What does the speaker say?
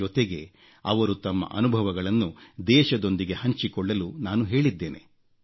ಜೊತೆಗೆ ಅವರು ತಮ್ಮ ಅನುಭವಗಳನ್ನು ದೇಶದೊಂದಿಗೆ ಹಂಚಿಕೊಳ್ಳಲು ನಾನು ಹೇಳಿದ್ದೇನೆ